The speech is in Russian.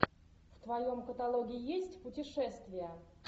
в твоем каталоге есть путешествия